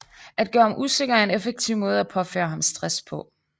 At gøre ham usikker er en effektiv måde at påføre ham stress på